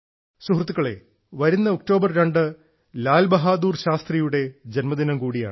സുഹൃത്തുക്കളെ വരുന്ന ഒക്ടോബർ 2 ലാൽ ബഹാദൂർ ശാസ്ത്രിയുടെ ജന്മദിനം കൂടിയാണ്